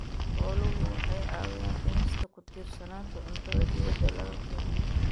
Xooluhu waxay caawiyaan dhimista ku tiirsanaanta cuntada dibadda laga keeno.